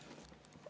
Miks?